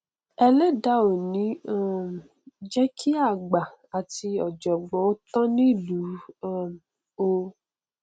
ẹlẹdàá ò ní um jẹ kí àgbà àti ọjọgbọn ó tán nílùú um o